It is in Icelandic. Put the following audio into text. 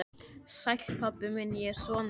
Sæll, pabbi minn, ég er sonur þinn.